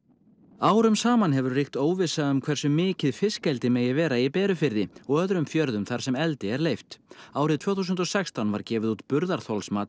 árum saman hefur ríkt óvissa um hversu mikið fiskeldi megi vera í Berufirði og öðrum fjörðum þar sem eldi er leyft árið tvö þúsund og sextán var gefið út burðarþolsmat